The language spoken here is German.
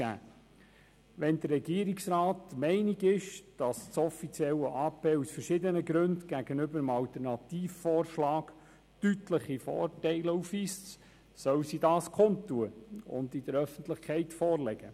Wenn der Regierungsrat der Meinung ist, das offizielle Ausführungsprojekt (AP) weise aus verschiedenen Gründen gegenüber dem Alternativvorschlag deutliche Vorteile auf, soll sie dies kundtun und sie der Öffentlichkeit vorlegen.